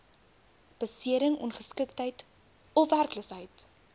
besering ongeskiktheid ofwerkloosheid